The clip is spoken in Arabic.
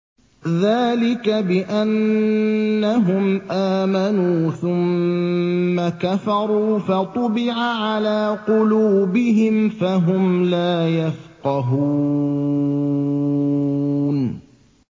ذَٰلِكَ بِأَنَّهُمْ آمَنُوا ثُمَّ كَفَرُوا فَطُبِعَ عَلَىٰ قُلُوبِهِمْ فَهُمْ لَا يَفْقَهُونَ